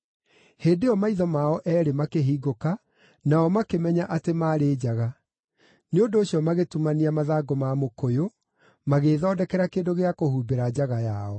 Hĩndĩ ĩyo maitho mao eerĩ makĩhingũka, nao makĩmenya atĩ maarĩ njaga; nĩ ũndũ ũcio magĩtumania mathangũ ma mũkũyũ, magĩĩthondekera kĩndũ gĩa kũhumbĩra njaga yao.